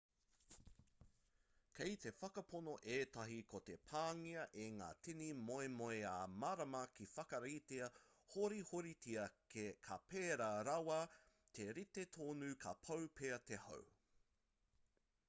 kei te whakapono ētahi ko te pāngia e ngā tini moemoeā mārama ka whakaritea horihoritia ka pērā rawa te rite tonu ka pau pea te hau